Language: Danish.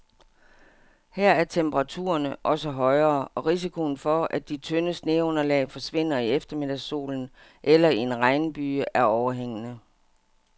Her er temperaturerne også højere, og risikoen for, at de tynde sneunderlag forsvinder i eftermiddagssolen eller i en regnbyge, er overhængende.